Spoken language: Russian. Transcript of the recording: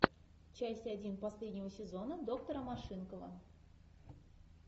часть один последнего сезона доктора машинкова